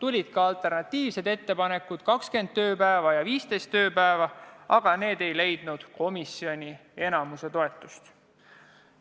Esitati ka alternatiivseid ettepanekuid – 20 tööpäeva ja 15 tööpäeva –, aga need ei leidnud komisjoni enamuse toetust.